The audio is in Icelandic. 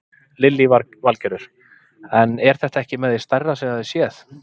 Lillý Valgerður: En er þetta ekki með því stærra sem þið hafið séð?